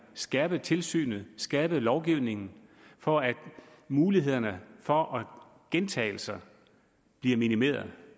skærpet tilsynet og skærpet lovgivningen for at mulighederne for gentagelser bliver minimeret